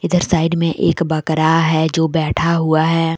इधर साइड में एक बकरा है जो बैठा हुआ है।